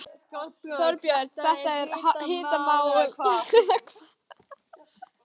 Þorbjörn, þetta er hitamál eða hvað?